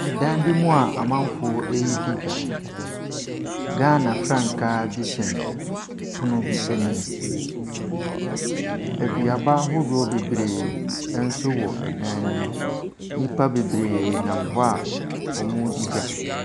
Dan bi mu a amamgo ɛredi dwa. Ghana frankaa bi sɛn pono bi anim. Aduaba ahoroɔ bebree nso wɔ dan ne mu. Nnipa bebree nam hɔ a wɔredi dwa.